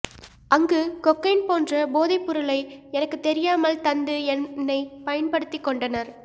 அங்கு கொக்கைன் போன்ற போதைப்பொருளை எனக்கு தெரியாமல் தந்து என்னை பயன்படுத்திக் கொண்டனர்